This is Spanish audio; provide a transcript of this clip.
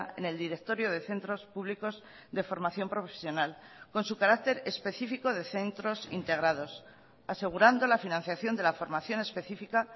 en el directorio de centros públicos de formación profesional con su carácter específico de centros integrados asegurando la financiación de la formación específica